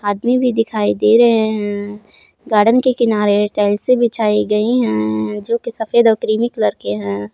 आदमी भी दिखाई भी दे रहे है गार्डन के किनारे टाइल्से बिछाई गई है जो कि सफेद और क्रीमी कलर की हैं।